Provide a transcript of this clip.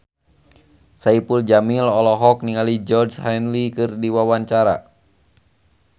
Saipul Jamil olohok ningali Georgie Henley keur diwawancara